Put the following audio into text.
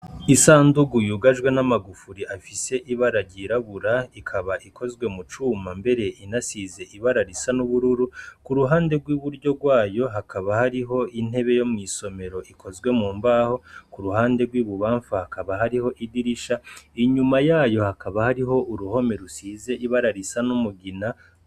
Isanduku yugajwe n'amagufuri afise ibara ry'irabura, ikaba ikozwe mu cuma mbere inasize ibara risa n'uburu, k'uruhande rw'iburyo rwayo hakaba hariho intebe yo mw'isomero ikozwe mu mbaho, kuruhande rw'ibubamfu hakaba hariho idirisha, inyuma yayo hakaba hari uruhome rusize ibara risa n'umugina.